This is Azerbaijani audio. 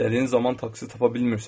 İstədiyin zaman taksi tapa bilmirsən.